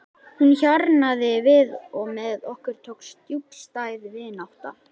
Hún hjarnaði við og með okkur tókst djúpstæð vinátta.